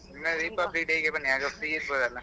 ಇಲ್ಲ Republic Day ಗೆ ಬನ್ನಿ ಆಗ free ಇರ್ತೀರಲ್ಲ.